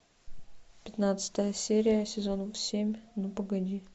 пятнадцатая серия сезона семь ну погоди